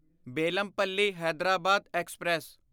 Bellampalli Hyderabad express